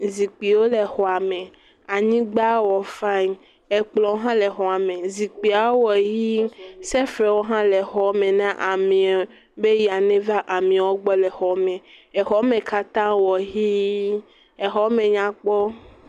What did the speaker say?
Zikpiwo le xɔa me. Anyigba wɔ faɛŋ. Ekplɔ̃ hã le xɔa me. Zikpiawo wɔ yii. Sɛfrɛwo hã le xɔme na ameɛ be eya neva xɔme na ameɛwo gbɔ le xɔme. Eɔme katã wɔ ʋiii. Exɔme nya kpɔ.